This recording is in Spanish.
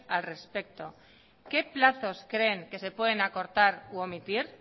al respecto qué plazos creen que se pueden acordar u omitir